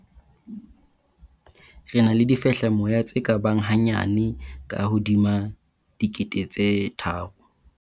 "Re na le difehlamoya tse ka bang hanyane ka hodima dikete tse tharo."